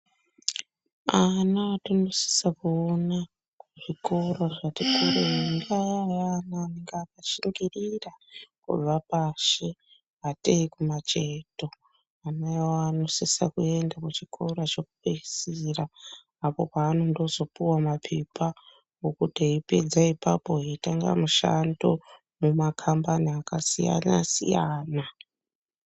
Ana anosisa kuona kuzvikora zvatikurei vava vana vanenge vakashingirira kuva pashi ngatei kumacheto Vana ivavo vanosisa kuenda kuchikora chekupedzisira pekuti eipedza ipapo opuwa mapepa ekuzosevenza mumakambani akasiyana siyana.